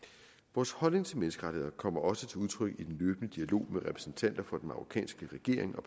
vores holdning til menneskerettigheder kommer også til udtryk i den løbende dialog med repræsentanter for den marokkanske regering og